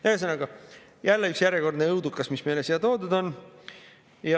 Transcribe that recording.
Ühesõnaga, jälle üks järjekordne õudukas, mis on meile siia toodud.